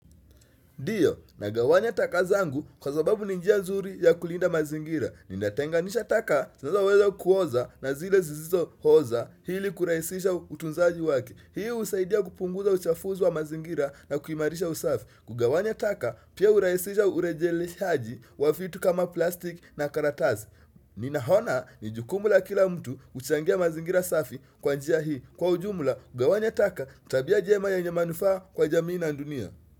Ndiyo, nagawanya taka zangu kwa sababu ni njia nzuri ya kulinda mazingira. Ninatenganisha taka, zinazoweza kuoza na zile sisizooza ili kurahisisha utunzaji wake. Hii husaidia kupunguza uchafuzi wa mazingira na kuhimarisha usafi. Kugawanya taka, pia urahisisha urejelehaji wa vitu kama plastic na karatasi. Ninaona, ni jukumu la kila mtu huchangia mazingira safi kwa njia hii. Kwa ujumula, kugawanya taka, tabia njema yenye manufaa kwa jamii na dunia.